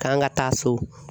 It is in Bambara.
K'an ka taa so.